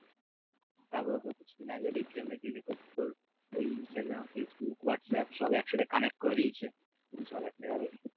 তারপর আগে কিছুদিন আগে দেখছিলাম নাকি যে তোর ওই ইনস্টাগ্রাম ফেসবুক হোয়াটসঅ্যাপ সব একসাথে connect করে দিয়েছে সব একটা কারণ